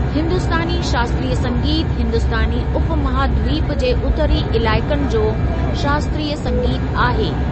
हिंदुस्तानी शास्त्रीय संगीत हिंदुस्‍तानी उपमहाद्वीप जे उत्तरी इलाइक़नि जो शास्त्रीय संगीत आहे।